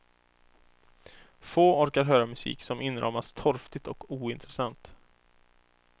Få orkar höra musik som inramas torftigt och ointressant.